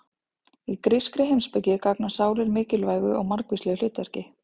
Í grískri heimspeki gegna sálir mikilvægu og margvíslegu hlutverki.